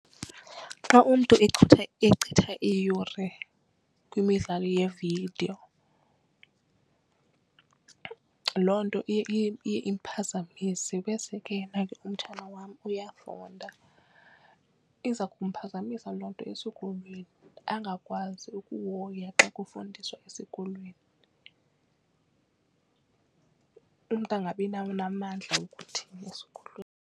Xa umntu echitha iiyure kwimidlalo yevidiyo loo nto iye iye iphazamise bese ke yena ke umtshana wam uyafunda. Iza kumphazamisa loo nto esikolweni angakwazi ukuhoya xa kufundiswa esikolweni. Umntu angabinawo namandla okuthini esikolweni.